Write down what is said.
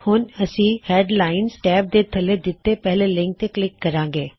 ਹੁਣ ਅਸੀ headline tab ਦੇ ਥੱਲੇ ਦਿੱਤੇ ਪਹਿਲੇ ਲਿੰਕ ਤੇ ਕਲਿੱਕ ਕਰਾੰਗੇ